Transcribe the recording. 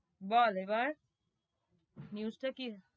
বল এবার, news টা কি?